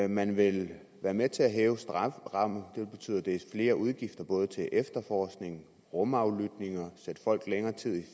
man vil være med til at hæve strafferammen og det vil betyde flere udgifter både til efterforskning og rumaflytning og til at sætte folk længere tid i